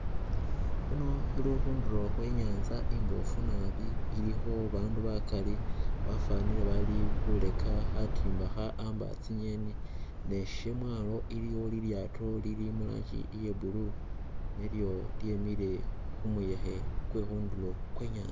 Khuno khuli khundulo khwe nyaanza imboofu nabi ilikho bandu bakaali bafwanile bali khureka khatimba kha amba tsingeni. Ne Syamwaalo iliyo lilyaato lili mu rangi ya blue nilyo lyemiile khu muyekhe kwe khundulo khwe i'nyaanza.